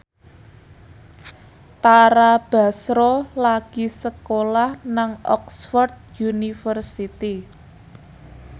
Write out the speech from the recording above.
Tara Basro lagi sekolah nang Oxford university